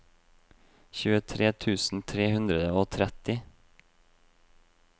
tjuetre tusen tre hundre og tretti